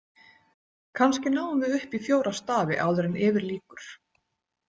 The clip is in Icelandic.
Kannski náum við upp í fjóra stafi áður en yfir lýkur.